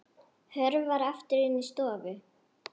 Hörfar aftur inn í stofu.